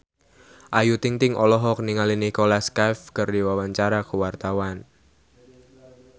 Ayu Ting-ting olohok ningali Nicholas Cafe keur diwawancara